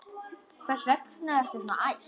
Hvers vegna ertu svona æst?